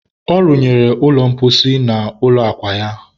a runyere ụlọ mposi n'ime ụlọ akwa ya